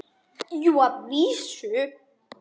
BJÖRN: Jú, að vísu.